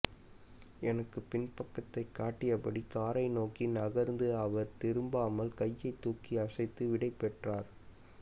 எனக்கு பின்பக்கத்தை காட்டியபடி காரை நோக்கி நகர்ந்த அவர் திரும்பாமல் கையை தூக்கி அசைத்து விடைபெற்றார்